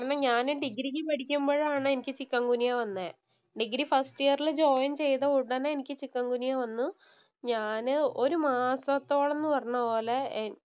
കാരണം ഞാന് ഡിഗ്രിക്ക് പഠിക്കുമ്പോഴാണ് എനിക്ക് ചിക്കൻ ഗുനിയ വന്നേ. ഡിഗ്രി ഫസ്റ്റ് ഇയറില്‍ ജോയിന്‍ ചെയ്ത ഉടനെ എനിക്ക് ചിക്കന്‍ ഗുനിയ വന്നു. ഞാന് ഒരു മാസത്തോളം എന്ന് പറഞ്ഞപോലെ